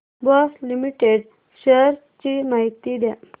Bosch limited shares ची माहिती द्या